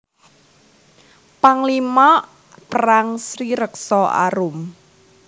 Panglima Perang Sri Rekso Arum